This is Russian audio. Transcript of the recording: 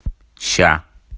сейчас